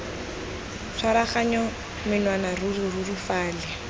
tshwaraganya menwana ruri ruri fale